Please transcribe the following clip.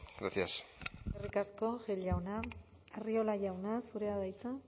gracias eskerrik asko gil jauna arriola jauna zurea da hitza